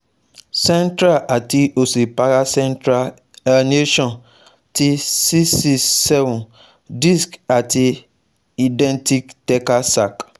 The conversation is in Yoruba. Central ati osi paracentral herniation ti C six seven disc ati indenting thecal sac